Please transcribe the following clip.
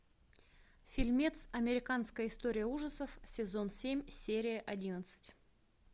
фильмец американская история ужасов сезон семь серия одиннадцать